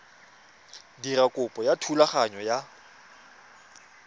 dira kopo ya thulaganyo ya